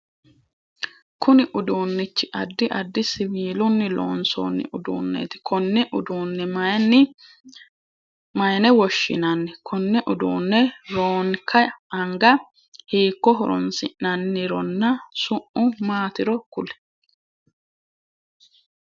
Kunni uduunichi addi addi siwiilunni loonsoonni uduuneeti konne uduune mayine woshinnanni? Konne uduune roonka anga hiiko horoonsi'nannironna su'mu maatiro kuli?